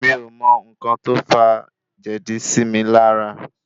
Mi ò mọ n̄ńkan tó fà jèdí sí mi lára.